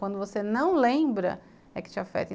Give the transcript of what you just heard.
Quando você não lembra, é que te afeta.